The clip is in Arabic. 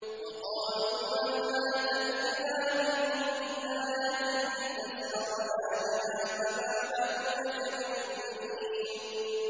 وَقَالُوا مَهْمَا تَأْتِنَا بِهِ مِنْ آيَةٍ لِّتَسْحَرَنَا بِهَا فَمَا نَحْنُ لَكَ بِمُؤْمِنِينَ